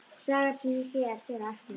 Sagan sem hér fer á eftir heitir